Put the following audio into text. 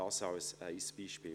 Das ist ein Beispiel.